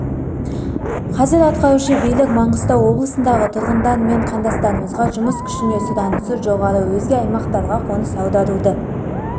қазір атқарушы билік маңғыстау облысындағы тұрғындар мен қандастарымызға жұмыс күшіне сұранысы жоғары өзге аймақтарға қоныс аударуды